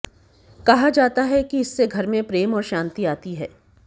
कहा जाता है कि इससे घर में प्रेम और शांति आती है